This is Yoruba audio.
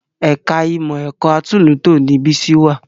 Ẹ̀ka ìmọ̀ ẹ̀kọ́ atúnlùútò ni Bísí wà